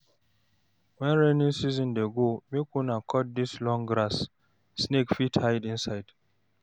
Wen rainy season dey go, make una cut dis long grass, snake fit hide inside.